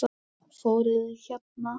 Fóruð þið hérna?